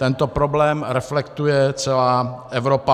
Tento problém reflektuje celá Evropa.